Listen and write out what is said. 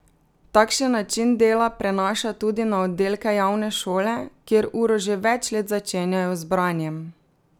Takšen način dela prenaša tudi na oddelke javne šole, kjer uro že več let začenjajo z branjem.